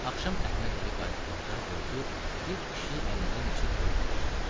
Axşam Əhməd evə qayıtdıqda gördü bir kişi əlində neçə toyuq tutub satır.